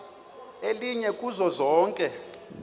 elinye kuzo zonke